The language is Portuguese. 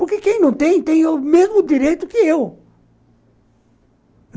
Porque quem não tem, tem o mesmo direito que eu.